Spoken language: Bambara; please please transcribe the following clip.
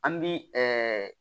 An bi